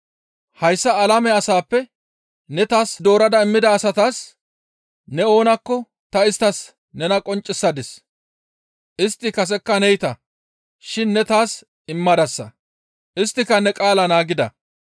«Hayssa alame asaappe ne taas doorada immida asatas ne oonakko ta isttas nena qonccisadis; istti kasekka neyta shin ne taas immadasa; isttika ne qaalaa naagida.